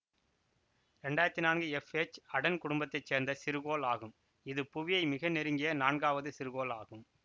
இரண்டாயிரத்தி நான்கு F H Aten குடும்பத்தை சேர்ந்த சிறுகோள் ஆகும் இது புவியை மிக நெருங்கிய நான்காவது சிறுகோள் ஆகும்